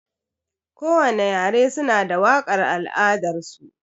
Kowani yare suna da waƙar al'adar su.